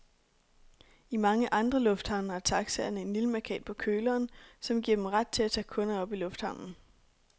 I mange andre lufthavne har taxaerne en lille mærkat på køleren, som giver dem ret til at tage kunder op i lufthavnen.